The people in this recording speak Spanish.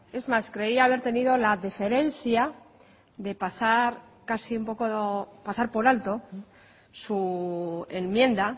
es más creía haber tenido la deferencia de pasar por alto su enmienda